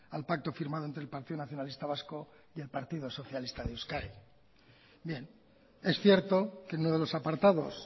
al pacto firmado entre el partido nacionalista vasco y el partido socialista de euskadi bien es cierto que en uno de los apartados